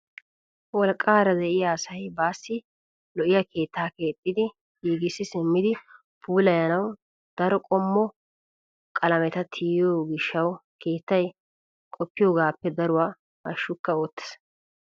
Wolqqaara de'iyaa asay baassi lo"iyaa keettaa keexxi giigissi simmidi puulayanawu daro qommo qalameta tiyiyoo giishshawu keettay qoppiyoogappe daruwaa hashshukka oottees!